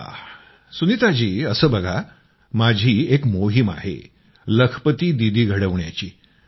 अच्छा असं बघा माझी एक मोहीम आहे लखपती दीदी घडवण्याची